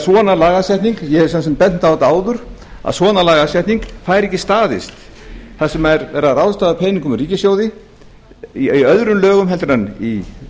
svona lagasetning ég hef svo sem bent á þetta áður að svona lagasetning fær ekki staðist þar sem er verið að ráðstafa peningum úr ríkissjóði í öðrum lögum en